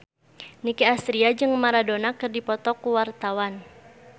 Nicky Astria jeung Maradona keur dipoto ku wartawan